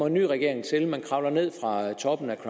en ny regering til man kravler ned fra toppen af